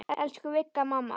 Elsku Vigga mamma.